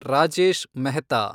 Rajesh Mehta